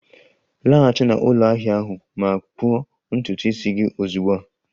Laghachi na ụlọ ahia ahụ ma kpụọ ntutu isi gị ozugbo a!